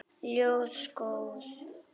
Ljós góðs.